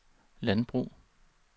landbrug